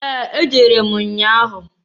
Ee! Ejere m nnya ahụ.